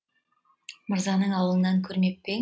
мырзаның аулынан көрмеп пе ең деді